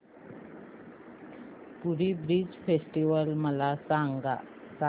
पुरी beach festival मला सांग